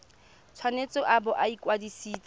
tshwanetse a bo a kwadisitswe